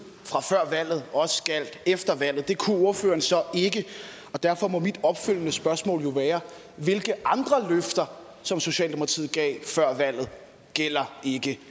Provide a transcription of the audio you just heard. fra før valget også gjaldt efter valget det kunne ordføreren så ikke derfor må mit opfølgende spørgsmål jo være hvilke andre løfter som socialdemokratiet gav før valget gælder ikke